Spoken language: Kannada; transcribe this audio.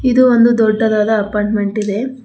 ಇದು ಒಂದು ದೊಡ್ಡದಾದ ಅಪಾರ್ಟ್ಮೆಂಟ್ ಇದೆ.